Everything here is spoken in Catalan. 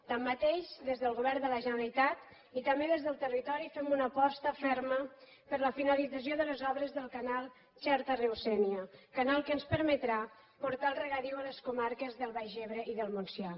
tanmateix des del govern de la generalitat i també des del territori fem una aposta ferma per a la finalització de les obres del canal xerta riu sénia canal que ens permetrà portar el regadiu a les comarques del baix ebre i del montsià